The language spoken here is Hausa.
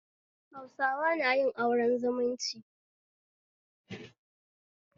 Hausawa nayin auren zumunci